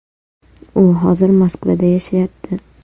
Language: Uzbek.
U hozir Moskvada yashayapti.